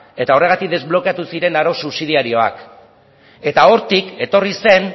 eta horregatik desblokeatu ziren arau subsidiarioak eta hortik etorri zen